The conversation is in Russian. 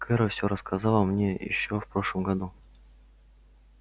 кэро все рассказала мне ещё в прошлом году